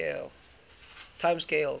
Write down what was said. time scales